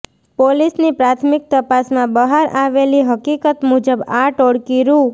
પોલીસની પ્રાથમિક તપાસમાં બહાર આવેલી હકીકત મુજબ આ ટોળકી રૂ